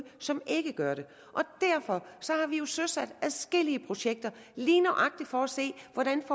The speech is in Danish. som ikke gør det derfor har vi jo søsat adskillige projekter lige nøjagtig for at se hvordan